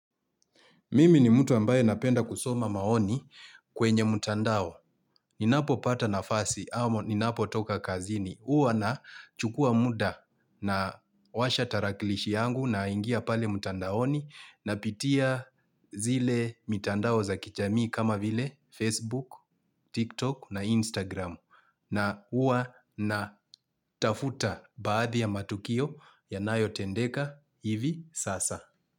Mimi ni mtu ambaye napenda kusoma maoni kwenye mtandao. Ninapo pata nafasi, ama ninapo toka kazini. Huwa na chukuwa muda na washa tarakilishi yangu na ingia pale mtandaoni napitia zile mitandao za kijamii kama vile Facebook, TikTok na Instagram. Na huwa natafuta baadhi ya matukio yanayo tendeka hivi sasa.